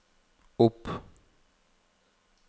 opp